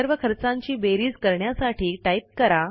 सर्व खर्चांची बेरीज करण्यासाठी टाईप करा